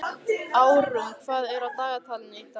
Árún, hvað er á dagatalinu í dag?